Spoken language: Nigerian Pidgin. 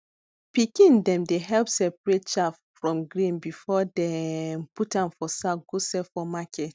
pikin dem dey help separate chaff from grain before dem put am for sack go sell for market